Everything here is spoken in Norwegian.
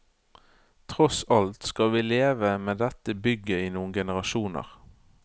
Tross alt skal vi leve med dette bygget i noen generasjoner.